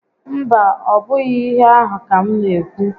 Mba, ọ bụghị íhé ahụ́ ka m n'ékwú